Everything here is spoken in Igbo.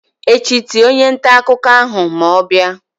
echi tie onye nta akuko ahu ma o bia!